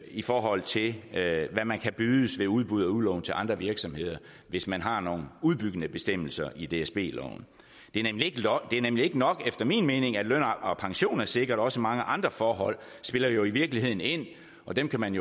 i forhold til hvad man kan bydes ved udbud og udlån til andre virksomheder hvis man har nogle udbyggende bestemmelser i dsb loven det er nemlig ikke nok efter min mening at løn og pension er sikret også mange andre forhold spiller jo i virkeligheden ind og dem kan man